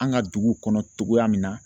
An ka dugu kɔnɔ cogoya min na